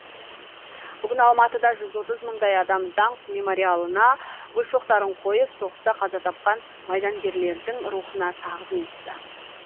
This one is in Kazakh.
бүгін алматыда жүз отыз мыңдай адам даңқ мемориалына гүл шоқтарын қойып соғыста қаза тапқан майдангерлердің рухына тағзым етті